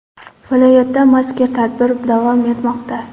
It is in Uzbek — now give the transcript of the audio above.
Viloyatda mazkur tadbir davom etmoqda.